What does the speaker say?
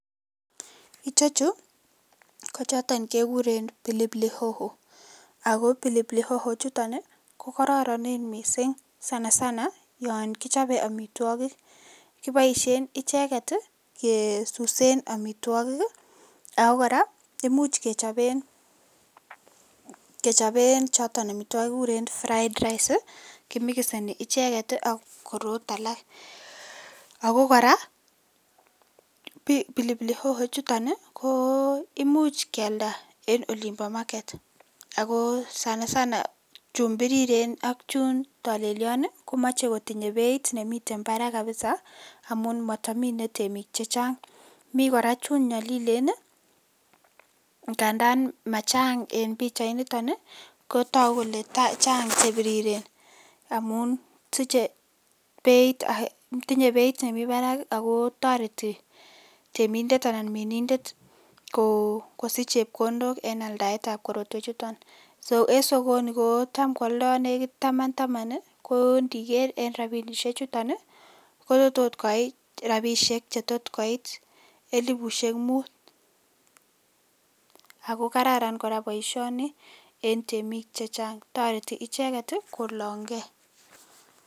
Ichechu ko choton kekuren 'pilipilihoho',ako pilipilihoho chuton kokororonen missing sanasana yon kichope amitwokik kiboisien icheket kesusen amitwokik, ako kora imuch kechopen choton amitwokiki kikuren 'fried rice' kimikiseni icheket ak korot alak ako kora pilipilihoho chuton imuch kialda en olimpo market akoo sanasana chun biriren ak chun tolelion komoche kotinye beit nemiten parak kabisa amun motomine temik chechang mikora chun nyolilen ngandan machang en pichainito ni kotoku kole chang chebiriren amun tinye beit nemi parak akoo toreti temindet anan minindet kosich chepkondok en aldaetab korotwechuto so en sokoni kotam kwoldo nekit taman taman koo ndiker en rapinisie chuto kotot koit rapisiek chetotkoit elifusiek mut, ako kararan kora boisioni en temik chechang toreti icheket kolong'ee.